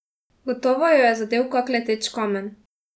Gotovo jo je zadel kak leteč kamen.